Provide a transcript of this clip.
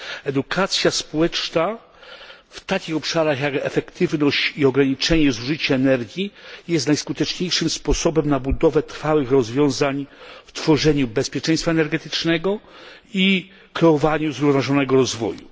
Edukacja społeczna w takich obszarach jak efektywność i ograniczenie zużycia energii jest najskuteczniejszym sposobem na budowę trwałych rozwiązań w tworzeniu bezpieczeństwa energetycznego i kreowaniu zrównoważonego rozwoju.